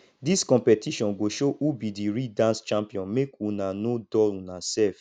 dis competition go show who be di real dance champion make una no dull una sef